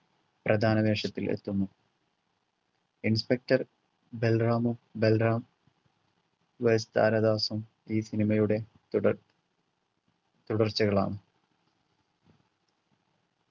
പ്രധാന വേഷത്തിൽ എത്തുന്നു inspector ബൽറാമും ബൽറാം versus താരാദാസും ഈ cinema യുടെ തുടർ തുടർച്ചകളാണ്